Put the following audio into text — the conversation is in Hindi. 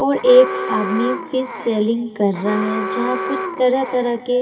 वो एक आदमी फिश सेल्लिंग कर रहा है जहाँ तरह तरह के--